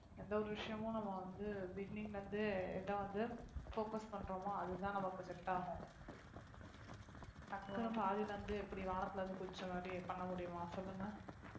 எந்த ஒரு விஷயமும் நம்ம வந்து beginning ல இருந்தே இதை வந்து focus பண்றோமோ அதுதான் நமக்கு set ஆகும் டக்குனு பாதியில இருந்து எப்படி வானத்துல இருந்து குதிச்ச மாதிரி பண்ண முடியுமா சொல்லுங்க